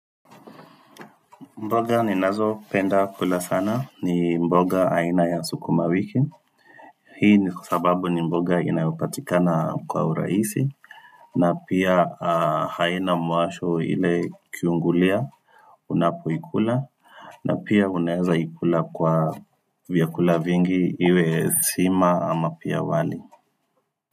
Mboga ninazopenda kula sana ni mboga aina ya sukuma wiki Hii ni kwa sababu ni mboga inayopatikana kwa uraisi na pia haina mwasho ile kiungulia Unapoikula na pia unaeza ikula kwa vyakula vingi iwe sima ama pia wali.